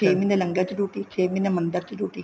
ਛੇ ਮਹੀਨੇਂ ਲੰਗਰ ਚ duty ਛੇ ਮਹੀਨੇ ਮੰਦਰ ਚ duty